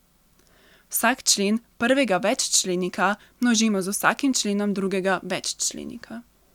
Vsak člen prvega veččlenika množimo z vsakim členom drugega veččlenika.